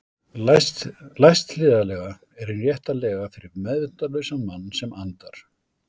Læst hliðarlega er hin rétta lega fyrir meðvitundarlausan mann sem andar.